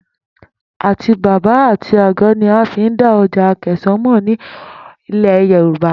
Àtíbàbà àti àgó̩ ni a fi n dá o̩jà Àkè̩sán mò̩ ní ilè̩ Yorùbá